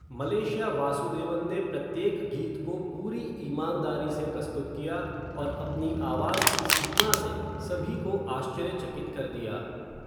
Malaysia Vasudevan ने प्रत्येक गीत को पूरी ईमानदारी से प्रस्तुत किया और अपनी आवाज़ की सीमा से सभी को आश्चर्यचकित कर दिया।